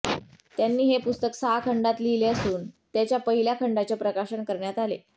त्यांनी हे पुस्तक सहा खंडांत लिहिले असून त्याच्या पहिल्या खंडाचे प्रकाशन करण्यात आले